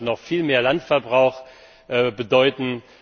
Das wird noch viel mehr Landverbrauch bedeuten.